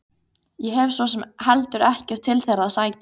Ég hef svo sem heldur ekkert til þeirra að sækja.